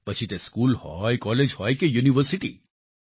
પછી તે સ્કૂલ હોય કોલેજ હોય કે યુનિવર્સિટી